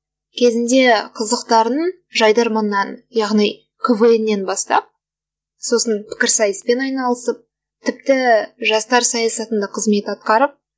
кезінде қызықтарын жайдарманнан яғни квн нан бастап сосын пікірсайыспен айналысып тіпті жастар саясатында кызмет атқарып